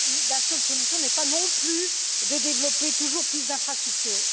la seule solution n'est pas non plus de développer toujours plus d'infrastructures.